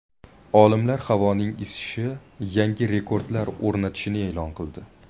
Olimlar havoning isishi yangi rekordlar o‘rnatishini e’lon qildi.